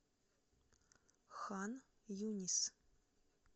хан юнис